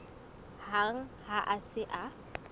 hang ha a se a